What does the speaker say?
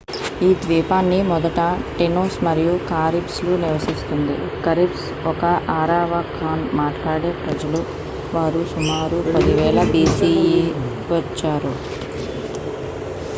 ఈ ద్వీపాన్ని మొదట టేనోస్ మరియు కారిబ్స్ లు నివసిస్తుంది కరిబ్స్ ఒక ఆరావకాన్ మాట్లాడే ప్రజలు వారు సుమారు 10,000 bce వచ్చారు